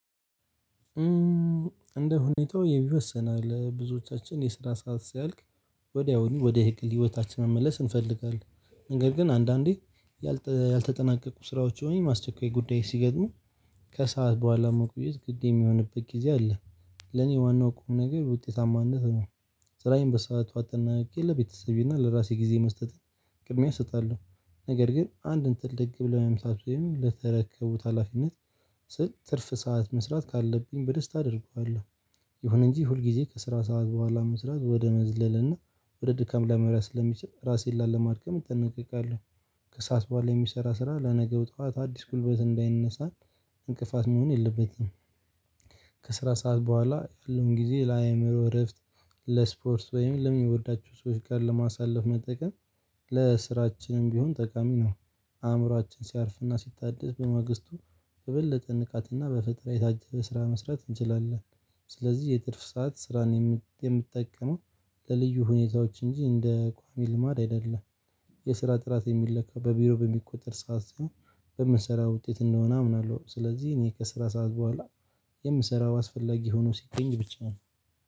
እንደ ሁኔታው ይወሰናል ብዙዎቻችን የስራ ሰዓት ሲያልቅ ወዲያውኑ ወደ ግል ህይወታችን መመለስ እንፈልጋለን። ነገር ግን አንዳንዴ ያልተ ያልተጠናቀቁ ስራዎች ወይም ማስቸኳይ ጉዳይ ሲገጥሙ ከሰአት በኋላ መቆየት ግድ የሚሆንበት ጊዜ አለ። ለኔ ዋናው ቁም ነገር ውጤታማነት ነው ስራዬን በሰአት አጠናቅቄ ለቤተሰቤና ለራሴ ጊዜ መስጠትን ቅድሚያ እሰጣለሁ። ነገር ግን አንድን ትልቅ ብለው መምሳት ወይም ለተረከቡት ሀላፊነት ስል ትርፍ ሰዓት መስራት ካለብኝ በደስታ አደርገዋለሁ። ይሁን እንጂ ሁል ጊዜ ከስራ ሰዓት በኋላ መስራት ወደ መዝለል እና ወደ ድካም ልያመሪ ስለሚችል ራሴን ላለማድገም እጠነቀቃለሁ። ከሰአት በኋላ የሚሰራ ስራ ለነገው ጠዋት አዲስ ጉልበት እንዳይነሳን እንቅፋት መሆን የለበትም። ከስራ ሰዓት በኋላ ያለውን ጊዜ ለአእምሮ እረፍት ለስፖርት ወይም ለሚወዳቸው ሰዎች ጋር ለማሳለፍ መጠቀም። ለስራችንም ቢሆን ጠቃሚ ነው። አእምሮአችን ሲያርፍና ሲታደስ በመግስቱ የበለጠ ንቃትና በፈጠራ የታጀበ ስራ መስራት እንችላለን። ስለዚህ የትርፍ ሰዓት ስራን የምጠቀመው ለልዩ ሁኔታዎች እንጂ እንደ ቋሚ ልማድ አይደለም። የስራ ጥራት የሚለካ በቢሮ በሚቆጠር ሰዓት ሳይሆን በምንሰራ ውጤት እንደሆነ አምናለሁ። ስለዚህ እኔ ከስራ ሰዓት በኋላ የምሰራው አስፈላጊ ሆኖ ሲገኝ ብቻ ነው።